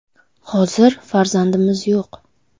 Hozir farzandimiz yo‘q.